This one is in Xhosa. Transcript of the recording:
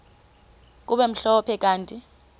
kube mhlophe kanti